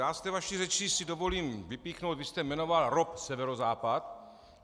Já z té vaší řeči si dovolím vypíchnout - vy jste jmenoval ROP Severozápad.